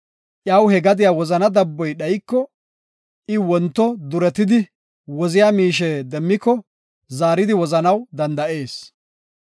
Iyaw he gadiya woziya dabboy dhayiko, I wonto duretidi woziya miishe demmiko zaaridi wozanaw danda7ees.